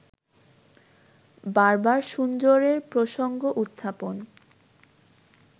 বারবার সুন্দরের প্রসঙ্গ-উত্থাপন